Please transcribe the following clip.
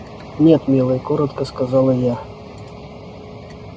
нет милый коротко сказала я